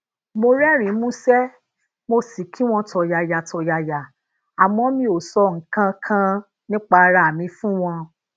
mo rérìnín músé mo sì kí wọn tọ̀yàyà tọ̀yàyà àmó mi ò sọ nǹkan kan nípa ara mi fún wọn